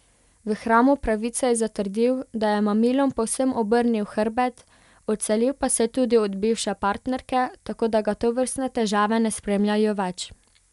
V hramu pravice je zatrdil, da je mamilom povsem obrnil hrbet, odselil pa se je tudi od bivše partnerke, tako da ga tovrstne težave ne spremljajo več.